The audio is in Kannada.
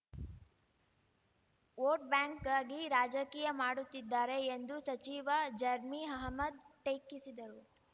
ವೋಟ್‌ಬ್ಯಾಂಕ್‌ಗಾಗಿ ರಾಜಕೀಯ ಮಾಡುತ್ತಿದ್ದಾರೆ ಎಂದು ಸಚಿವ ಜರ್ಮಿ ಅಹಮದ್‌ ಟೀಕಿಸಿದರು